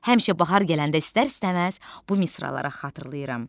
Həmişə bahar gələndə istər-istəməz bu misraları xatırlayıram.